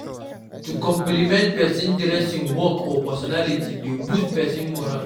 To compliment persin dressing work or personality de boost persin morale